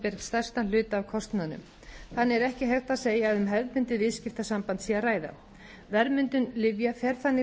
stærstan hluta af kostnaðinum þannig er ekki hægt að segja að um hefðbundið viðskiptasamband sé að ræða verðmyndun lyfja fer þannig